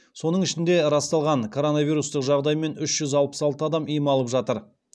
соның ішінде расталған коронавирустық жағдаймен үш жүз алпыс алты адам ем алып жатыр